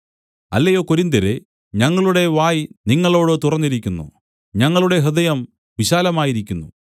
അല്ലയോ കൊരിന്ത്യരേ ഞങ്ങളുടെ വായി നിങ്ങളോട് തുറന്നിരിക്കുന്നു ഞങ്ങളുടെ ഹൃദയം വിശാലമായിരിക്കുന്നു